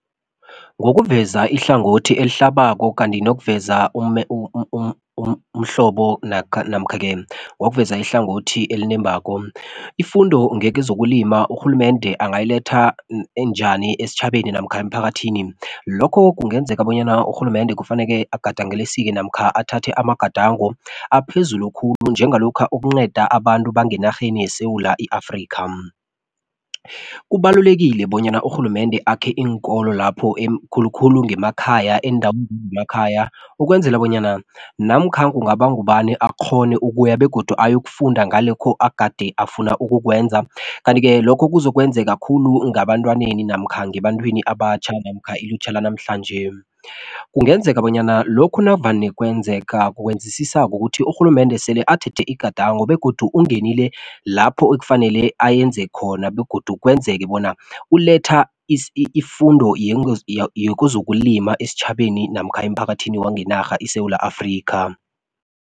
Ngokuveza ihlangothi elihlabako kanti nokuveza umhlobo namkha-ke ngokuveza ihlangothi elinembako. Ifundo ngekezokulima urhulumende angayiletha njani esitjhabeni namkha emphakathini. Lokho kunenzeka bonyana kufanele urhulumende namkha athathe amagadango aphezulu khulu njengalokha ukunceda abantu enarheni yeSewula i-Afrikha. Kubalulekile bonyana urhulumende akhe iinkolo lapho khulu-khulu ngemakhaya ukwenzela bonyana namkha kungaba ngubani akghone ukuya begodu akghone ayokufunda ngalokhu agade afuna ukukwenza. Kanti-ke lokho kuzokwenzeka khulu ngebantwaneni namkha ngebantwini abatjha namkha ilutjha lanamhlanje. Kungenzeka bonyana lokhu navane kwenzeka kwenzisisa kukuthi urhulumende sele athethe igadango begodu ungenile lapho ekufanele ayenze khona begodu kwenzeke bona uletha ifundo yezokulima esitjhabeni namkha emphakathini wangenarha iSewula Afrikha.